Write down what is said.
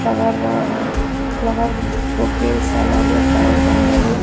ఫ్లవరా flower bouquets అలాగే flower దండలు--